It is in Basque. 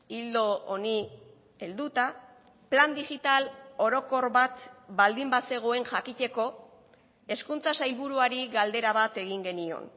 ildo honi helduta plan digital orokor bat baldin bazegoen jakiteko hezkuntza sailburuari galdera bat egin genion